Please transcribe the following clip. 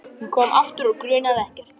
Hún kom aftur og grunaði ekkert.